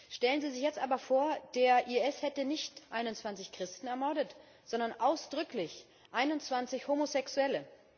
Stellen Sie sich jetzt aber vor, der IS hätte nicht 21 Christen ermordet, sondern ausdrücklich 21 Homosexuelle.